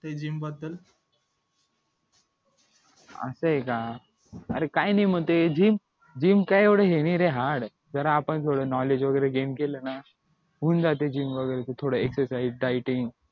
असय का अरे काय नाय मग ते gym काय एवढं हे नाही रे hard जरा आपण थोडं knowledge वगैरे gain केल ना होऊन जाते gym वगैरे थोड excerside dieting